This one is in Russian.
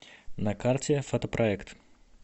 на карте фотопроект